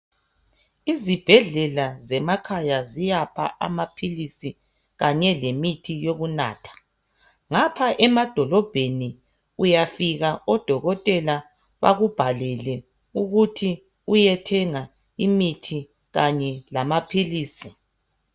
Izibhedlela zemakhaya ziyapha amaphilizi kanye lemithi yokunatha, ngapha emadolobheni uyafika odokotela bekubhalele ukuthi uyethenga imithi kanye lamaphilizi.